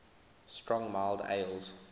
strong mild ales